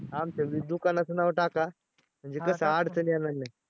आमच्या बी दुकानाचं नाव टाका अडचण येणार नाही.